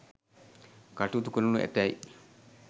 කටයුතු කරනු ඇතැයි